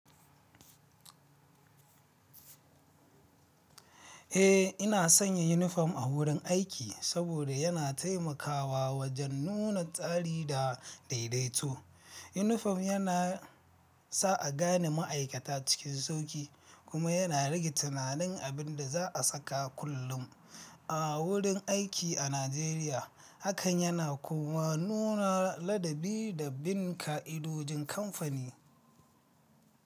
Eh, ina sanya uniform a wurin aiki saboda yana taimakawa wajen nuna tsari da daidaito. Yunifom yana sa a gane ma'aikata cikin sauƙi kuma yana rage tunanin abin da za a saka kullum. A wurin aiki a Najeriya, hakan yana kuma nuna ladabi da bin ƙa'idojin kamfani.